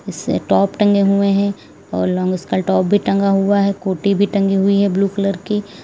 से टॉप टंगे हुए हैं और लॉन्ग टॉप भी टंगा हुआ है कोटी भी टंगी हुई है ब्लू कलर की।